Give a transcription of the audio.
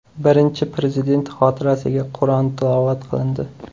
Birinchi Prezident xotirasiga Qur’on tilovat qilindi.